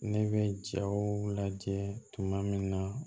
Ne bɛ jaw lajɛ tuma min na